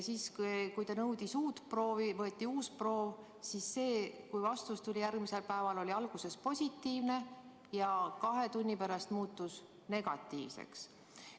Ta nõudis uut proovi, siis võeti uus proov ja kui vastus tuli järgmisel päeval, oli see alguses positiivne ja kahe tunni pärast muutus negatiivseks.